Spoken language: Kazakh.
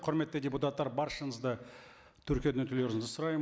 құрметті депутаттар баршаңызды тіркеуден өтулеріңізді сұраймын